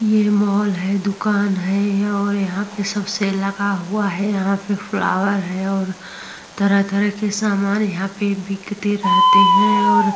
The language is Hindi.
ये माल है दुकान है और यहां पर सब सेल लगा हुआ है। यहां पे फ्लावर हैं और तरह तरह के सामान यहाँ बिकते रहते हैं और --